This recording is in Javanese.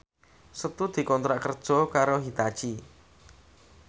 Setu dikontrak kerja karo Hitachi